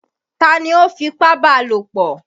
Ta ni ó fipábalòpọ̀?